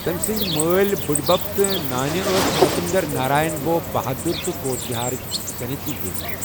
تٔمۍ سٕنٛدۍ مٲلۍ بٕڑِبَب تہٕ نانہِ ٲس نرپیندر نارائن بھوپ بہادُر تہٕ کوچ بِہارٕچ سنیتی دیوی۔